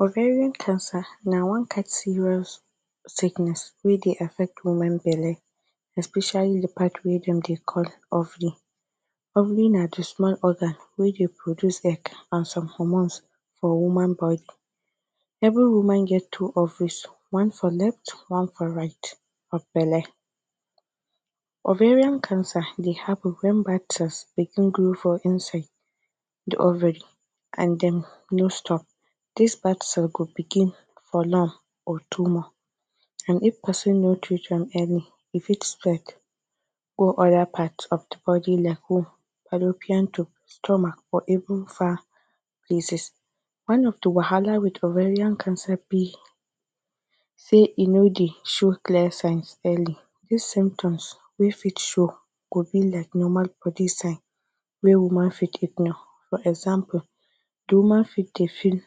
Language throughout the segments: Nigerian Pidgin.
Ovarian cancer na one kind serious sickness wey Dey affect woman belle especially d part wey dem Dey call ovary, ovary na d small organ wey Dey produce egg and some hormones for Woman body, every woman get two ovaries one for left one for right of belle. Ovarian cancer Dey happen wen begin grow for inside d ovary and dem no stop dis go begin for lung or tumor and if persin no treat am early e fit spread go oda part of d bodi like womb, fallopian tube, stomach or even far places. One of d wahala with ovarian cancer b say e no Dey show clear signs early, dis symptoms wey fit show go be like normal bodi signs wey woman fit ignore for example, de woman for Dey feel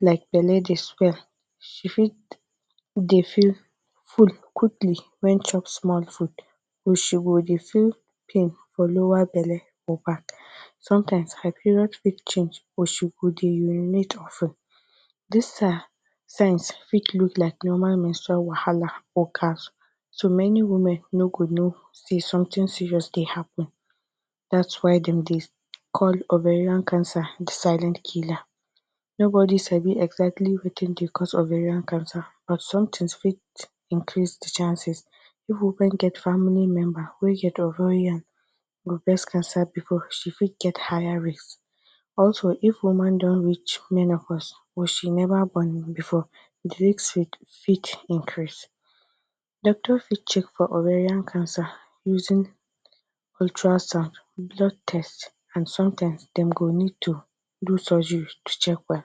like belle Dey swell she fit Dey feel full quickily wen chop small food or she go Dey feel pain for lower belle or back sometimes her period fit change or she go Dey urinate of ten dis signs fit look like normal menstral wahala or so many women no go no say something serious Dey happen dats why dem Dey call ovarian cancer de silent killer nobodi sabi exactly Wetin Dey cause ovarian cancer but something fit increase the chances, if women get family member wey get ovarian or breast cancer before she fit get higher risk, also if woman don reach menopause or she neva born before the risk fit increase, doctor fit check for ovarian cancer using ultra sound, blood test and sometimes dem go need to do surgery to check well,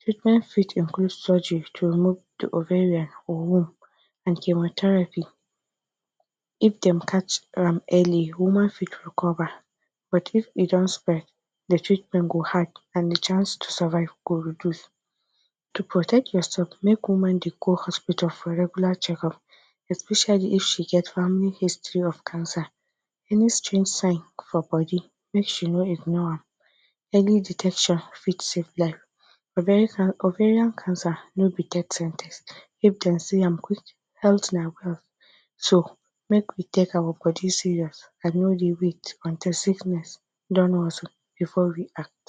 treatment fit include surgery to remove ovary or the womb and chemotherapy, if dem catch an early woman fit recover, but if e don spread, de treatment go hard and de chances to survive go reduce, to protect your self make woman Dey go hospital for regular checkup especially if she get family history of cancer, any strange sign for bodi make she no ignore am, early detection fit save life, ovarian ovarian cancer no be death sen ten ce if dem see am quick, Healy na wealth so make we take our bodi serious and no Dey wait until sickness don worse before we act.